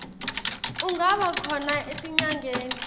ungaba khona etinyangeni